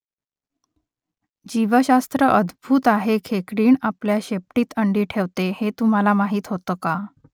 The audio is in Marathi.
जीवशास्त्र अद्भुत आहे खेकडीण आपल्या शेपटीत अंडी ठेवते हे तुम्हाला माहीत होतं का ?